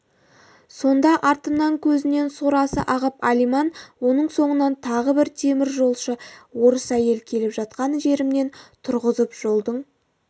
сонда артымнан көзінен сорасы ағып алиман оның соңынан тағы бір теміржолшы орыс әйелі келіп жатқан жерімнен тұрғызып жолдың